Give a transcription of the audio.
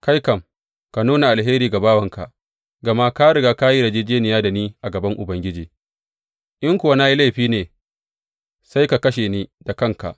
Kai kuma, ka nuna alheri ga bawanka, gama ka riga ka yi yarjejjeniya da ni a gaban Ubangiji, in kuwa na yi laifi ne sai ka kashe ni da kanka.